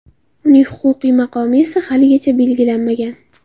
Uning huquqiy maqomi esa haligacha belgilanmagan.